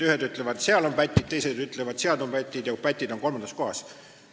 Ühed ütlevad, et seal on pätid, teised ütlevad, et seal on pätid ja pätid on kolmandas kohas.